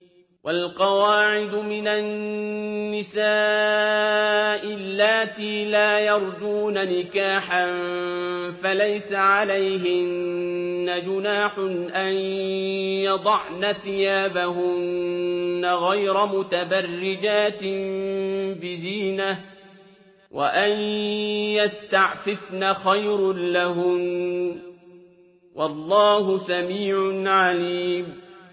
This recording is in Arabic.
وَالْقَوَاعِدُ مِنَ النِّسَاءِ اللَّاتِي لَا يَرْجُونَ نِكَاحًا فَلَيْسَ عَلَيْهِنَّ جُنَاحٌ أَن يَضَعْنَ ثِيَابَهُنَّ غَيْرَ مُتَبَرِّجَاتٍ بِزِينَةٍ ۖ وَأَن يَسْتَعْفِفْنَ خَيْرٌ لَّهُنَّ ۗ وَاللَّهُ سَمِيعٌ عَلِيمٌ